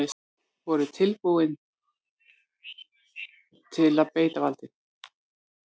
Voru tilbúnir að beita valdi